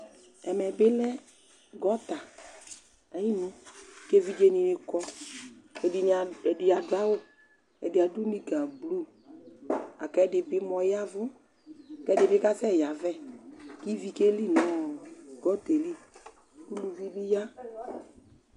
Ɛmɛ bɩ lɛ gɔta ayinu kʋ evidzenɩ kɔ kʋ ɛdɩnɩ a ɛdɩ adʋ awʋ Ɛdɩ adʋ nikablu la kʋ ɛdɩ bɩ mʋa ɔya ɛvʋ kʋ ɛdɩ bɩ kasɛyavɛ kʋ ivi keli nʋ ɔ gɔta yɛ li Uluvi bɩ ya